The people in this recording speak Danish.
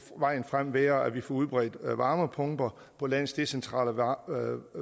vejen frem være at vi får udbredt varmepumper på landets decentrale værker